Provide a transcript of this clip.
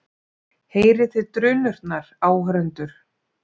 Heyrið þig drunurnar, áhorfendur?